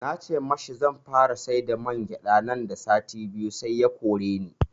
Na ce mashi zanfara siyar da mangyaɗa nan da sati biyu sai ya koreni